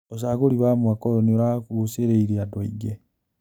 ũcagũri wa mwaka ũyũ nĩũragucĩrĩirie andũ aingĩ.